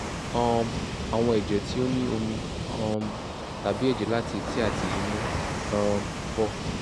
um awọn ẹjẹ ti o ni omi um tabi ẹjẹ lati eti ati imu um 4